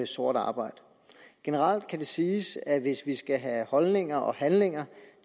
sort arbejde generelt kan det siges at hvis vi skal have holdninger og handlinger